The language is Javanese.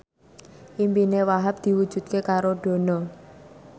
impine Wahhab diwujudke karo Dono